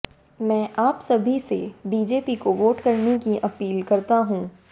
मैं आप सभी से बीजेपी को वोट करने की अपील करता हूं